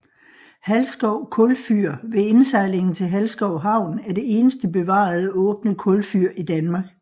Halsskov kulfyr ved indsejlingen til Halsskov Havn er det eneste bevarede åbne kulfyr i Danmark